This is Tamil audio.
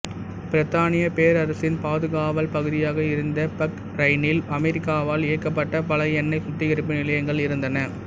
பிரித்தானியப் பேரரசின் பாதுகாவல் பகுதியாக இருந்த பஹ்ரைனில் அமெரிக்காவால் இயக்கப்பட்ட பல எண்ணெய் சுத்திகரிப்பு நிலையங்கள் இருந்தன